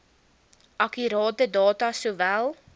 akkurate data sowel